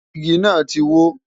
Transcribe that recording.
Igi náà ti wó.